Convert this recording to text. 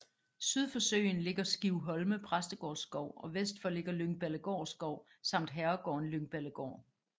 Syd for søen ligger Skivholme Præstegårdsskov og vest for ligger Lyngballegård Skov samt herregården Lyngballegård